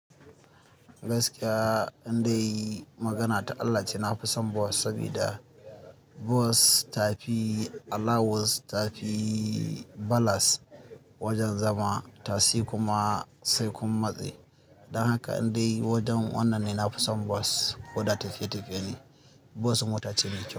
Gaskiya, in dai magana ta Allah ce, na fi son bus saboda bus ta fi allowance, ta fi balas wajen zama, tasi kuma sai kun matse. Don haka in dai wajen wannan ne, na fi son bus koda tafiye tafiye ne. Bus mota ce ne.